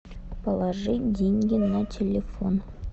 положить деньги на телефон